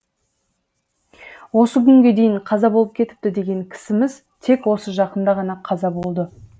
осы күнге дейін қаза болып кетіпті деген кісіміз тек осы жақында ғана қаза болды